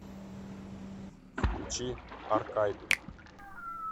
включи аркайду